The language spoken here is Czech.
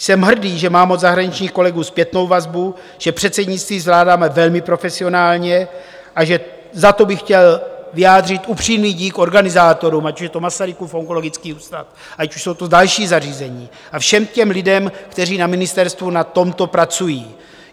Jsem hrdý, že mám od zahraničních kolegů zpětnou vazbu, že předsednictví zvládáme velmi profesionálně a že za to bych chtěl vyjádřit upřímný dík organizátorům, ať už je to Masarykův onkologický ústav, ať už jsou to další zařízení, a všem těm lidem, kteří na ministerstvu na tomto pracují.